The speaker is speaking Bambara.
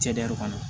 Cɛdɛri kɔnɔ